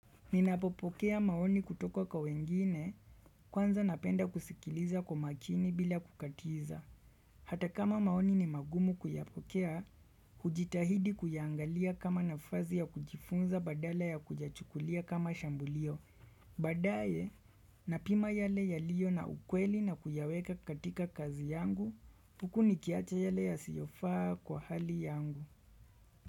Ninapopokea maoni kutoka kwa wengine kwanza napenda kusikiliza kwa makini bila kukatiza. Hata kama maoni ni magumu kuyapokea, hujitahidi kuyaangalia kama nafasi ya kujifunza badala ya kuyachukulia kama shambulio. Baadaye, napima yale yaliyo na ukweli na kuyaweka katika kazi yangu, huku nikiacha yale yasiyo faa kwa hali yangu.